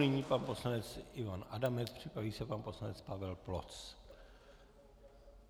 Nyní pan poslanec Ivan Adamec, připraví se pan poslanec Pavel Ploc.